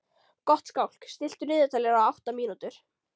Gottskálk, stilltu niðurteljara á átta mínútur.